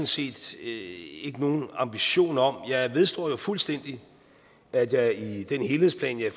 set ikke nogen ambition om jeg vedstår jo fuldstændig at jeg i den helhedsplan jeg